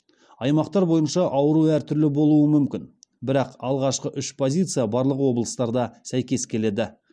аймақтар бойынша ауру әртүрлі болуы мүмкін бірақ алғашқы үш позиция барлық облыстарда сәйкес келеді